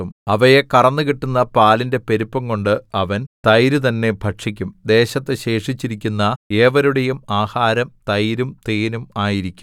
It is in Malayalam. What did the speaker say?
അവയെ കറന്നു കിട്ടുന്ന പാലിന്റെ പെരുപ്പംകൊണ്ട് അവൻ തൈരു തന്നെ ഭക്ഷിക്കും ദേശത്തു ശേഷിച്ചിരിക്കുന്ന ഏവരുടെയും ആഹാരം തൈരും തേനും ആയിരിക്കും